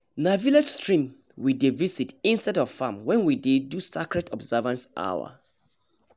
na village stream we dey visit instead of farm when wen dey do sacred observance hour